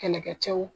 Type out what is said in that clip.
Kɛlɛkɛcɛw